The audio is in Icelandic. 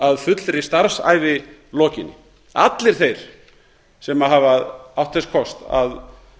að fullri starfsævi lokinni allir þeir sem hafa átt þess kost að